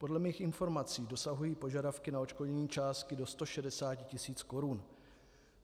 Podle mých informací dosahují požadavky na odškodnění částky do 160 tisíc korun.